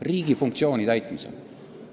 Riigi funktsiooni täitmisel!